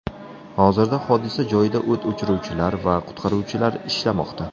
Hozirda hodisa joyida o‘t o‘chiruvchilar va qutqaruvchilar ishlamoqda.